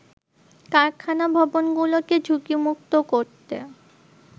কারখানা ভবনগুলোকে ঝুঁকিমুক্ত করতে